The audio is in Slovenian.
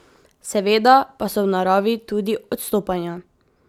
Seveda pa so v naravi tudi odstopanja.